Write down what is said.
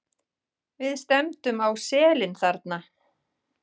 Við stefndum á selin þarna.